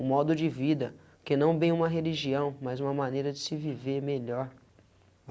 O modo de vida, que não bem uma religião, mas uma maneira de se viver melhor.